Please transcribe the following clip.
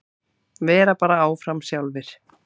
Vera bara áfram sjálfir.